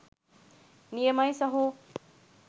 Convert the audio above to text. නියමයි සහෝ.